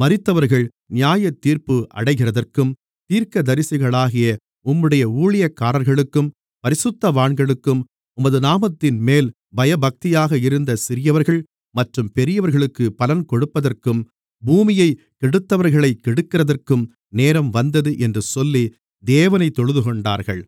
மரித்தவர்கள் நியாயத்தீர்ப்பு அடைகிறதற்கும் தீர்க்கதரிசிகளாகிய உம்முடைய ஊழியக்காரர்களுக்கும் பரிசுத்தவான்களுக்கும் உமது நாமத்தின்மேல் பயபக்தியாக இருந்த சிறியவர்கள் மற்றும் பெரியவர்களுக்கு பலன் கொடுப்பதற்கும் பூமியைக் கெடுத்தவர்களைக் கெடுக்கிறதற்கும் நேரம்வந்தது என்று சொல்லி தேவனைத் தொழுதுகொண்டார்கள்